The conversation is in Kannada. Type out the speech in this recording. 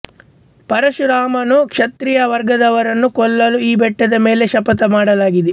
ಪರಶುರಾಮನು ಕ್ಷತ್ರಿಯ ವರ್ಗದವರನ್ನು ಕೊಲ್ಲಲು ಈ ಬೆಟ್ಟದ ಮೇಲೆ ಶಪಥ ಮಾಡಲಾಗಿದೆ